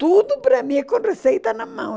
Tudo para mim é com receita na mão.